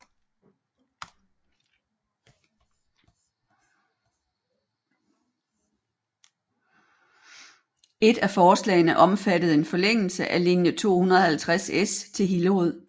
Et af forslagene omfattede en forlængelse af linje 250S til Hillerød